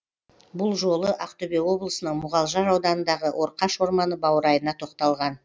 бұл жолы ақтөбе облысының мұғалжар ауданындағы орқаш орманы баурайына тоқталған